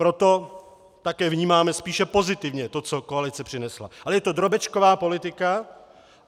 Proto také vnímáme spíše pozitivně to, co koalice přinesla, ale je to drobečková politika.